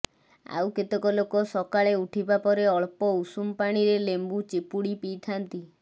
ଆଉ କେତକ ଲୋକ ସକାଳେ ଉଠିବାପରେ ଅଳ୍ପ ଉଷୁମ ପାଣିରେ ଲେମ୍ବୁ ଚିପୁଡ଼ି ପିଇଥାନ୍ତି